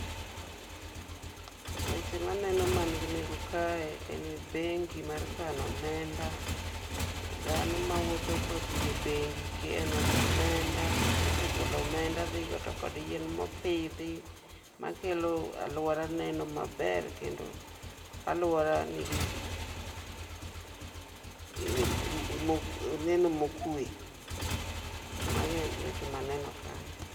Weche maneno man gi nengo kae en bengi mar kano omenda. Dhano mawuotho kodhi e bengi keno, mosegolo omenda dhigo to kod yien mopidhi, makelo aluora neno maber kendo aluora nigi neno mokwe. Mago eweche ma aneno kanyo.